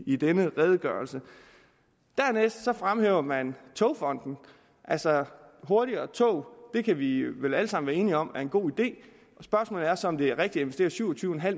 i denne redegørelse dernæst fremhæver man togfonden altså hurtigere tog kan vi vel alle sammen være enige om er en god idé spørgsmålet er så om det er rigtigt at investere syv og tyve